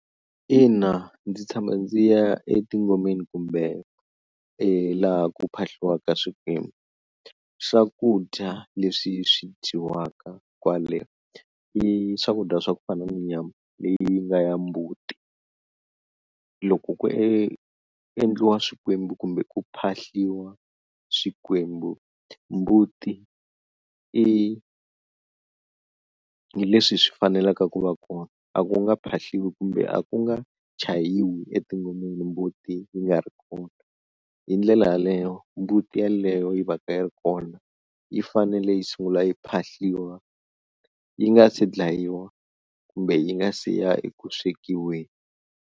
Ina ndzi tshama ndzi ya etingomeni kumbe e laha ku phahliwaka swikwembu, swakudya leswi swi dyiwaka kwale i swakudya swa ku fana ni nyama leyi nga ya mbuti, loko ku endliwa swikwembu kumbe ku phahliwa swikwembu mbuti i hi leswi swi fanelaka ku va kona, a ku nga phahliwi kumbe a ku nga chayiwi etingomeni mbuti yi nga ri kona hi ndlela yaleyo mbuti yeleyo yi va ka yi ri kona yi fanele yi sungula yi phahliwa yi nga se dlayiwa kumbe yi nga si ya ekuswekiweni.